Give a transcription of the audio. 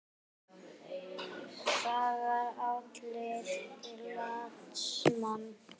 Það var andlit glataðs manns.